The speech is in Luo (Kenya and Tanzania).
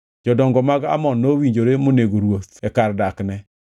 Jodongo mag Amon nowinjore monego ruoth e kar dakne.